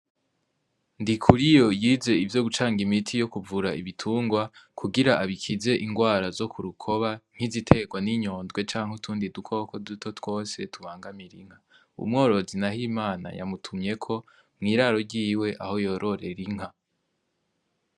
Ndi kuri yo yize ivyo gucanga imiti yo kuvura ibitungwa kugira abikize ingwara zo ku rukoba nkiziterwa n'inyondwe canke utundi dukoko duto twose tubangamira inka uumworozi, naho imana yamutumyeko mw'iraro ryiwe aho yororera inka.